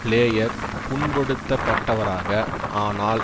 player புண்படுத்தப்பட்டவராக ஆனால்